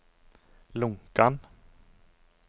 Lonkan